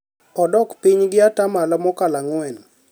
odok piny gi ata malo mokalo ang'wen